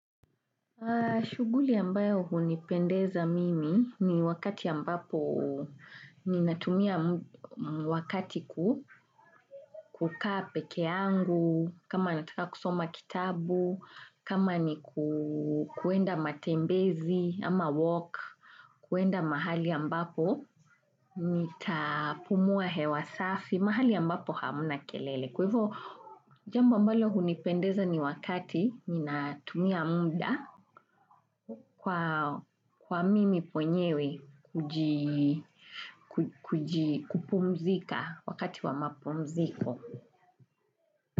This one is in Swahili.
Shughuli ambayo hunipendeza mimi ni wakati ambapo ninatumia wakati, kukaa pekeangu, kama nataka kusoma kitabu, kama ni kuenda matembezi ama walk, kuenda mahali ambapo nitapumua hewa safi, mahali ambapo hamna kelele. Kwaivo, jambo ambalo hunipendeza ni wakati ninatumia muda. Kwa mimi mwenyewe kupumzika wakati wa mapumziko.